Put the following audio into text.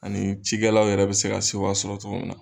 Ani cikɛlaw yɛrɛ bɛ se ka sewa sɔrɔ togo mun na.